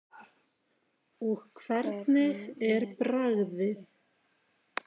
Og hvernig er bragðið?